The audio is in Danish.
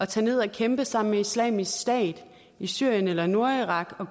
tage ned og kæmpe sammen med islamisk stat i syrien eller nordirak og